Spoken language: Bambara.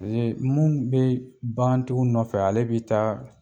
mun bɛ bagan tigiw nɔfɛ ale bɛ taa